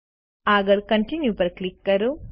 આગળ કોન્ટિન્યુ પર ક્લિક કરો